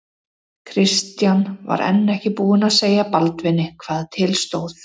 Christian var enn ekki búinn að segja Baldvini hvað til stóð.